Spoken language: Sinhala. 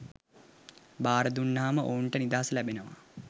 භාරදුන්නහම ඔවුන්ට නිදහස ලැබෙනවා